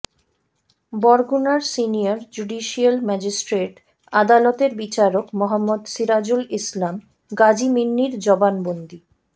বরগুনার senior judicial magistrate আদালতের বিচারক মোহাম্মাদ সিরাজুল ইসলাম গাজী মিন্নির জবানবন্দি